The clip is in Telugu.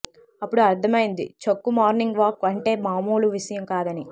అప్పుడు అర్థమైంది చక్కు మార్నింగ్ వాక్ అంటే మామూలు విషయం కాదని